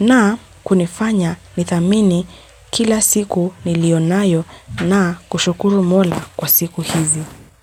na kunifanya nithamini kila siku nilionayo na kushukuru mola kwa siku hizi.